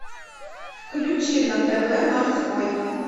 включи на тв морской